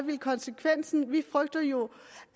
konsekvensen vil være vi frygter jo